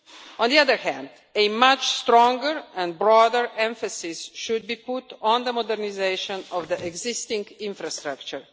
On the other hand, a much stronger and broader emphasis should be put on the modernisation of the existing infrastructure.